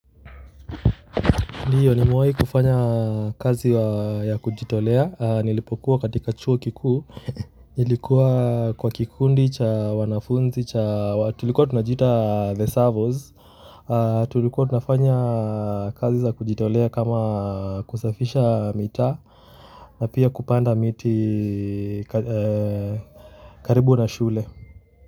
Ndiyo nimewahi kufanya kazi ya kujitolea, nilipokuwa katika chuo kikuu, nilikuwa kwa kikundi cha wanafunzi, tulikuwa tunajiita the servos, tulikuwa tunafanya kazi za kujitolea kama kusafisha mitaa, na pia kupanda miti karibu na shule.